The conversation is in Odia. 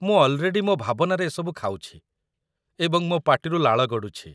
ମୁଁ ଅଲ୍‌ରେଡି ମୋ ଭାବନାରେ ଏସବୁ ଖାଉଛି ଏବଂ ମୋ ପାଟିରୁ ଲାଳ ଗଡ଼ୁଛି ।